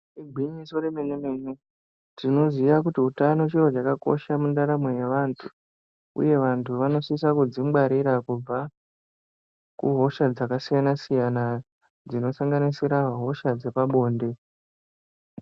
Igwinyiso remene-mene. Tinoziya kuti utano chiro chakakosha mundaramo yevantu, uye vantu vanosisa kuzvingwarira kubva kuhosha dzakasiyana kusanganisira hosha dzepabonde.